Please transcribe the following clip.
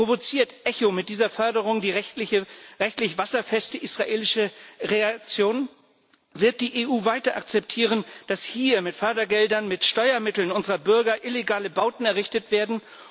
Provoziert ECHO mit dieser Förderung die rechtlich wasserfeste israelische Reaktion? Wird die EU weiter akzeptieren, dass hier mit Fördergeldern, mit Steuermitteln unserer Bürger, illegale Bauten errichtet werden?